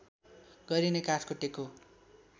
गरिने काठको टेको